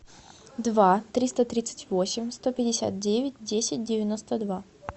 два триста тридцать восемь сто пятьдесят девять десять девяносто два